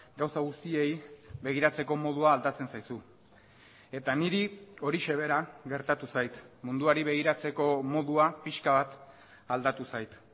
gauza guztiei begiratzeko modua aldatzen zaizu eta niri horixe bera gertatu zait munduari begiratzeko modua pixka bat aldatu zait